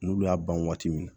N'olu y'a ban waati min na